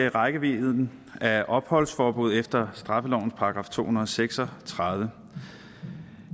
rækkevidden af opholdsforbud efter straffelovens § to hundrede og seks og tredive